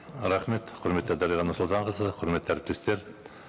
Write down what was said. рахмет құрметті дариға нұрсұлтанқызы құрметті әріптестер